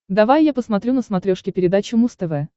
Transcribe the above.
давай я посмотрю на смотрешке передачу муз тв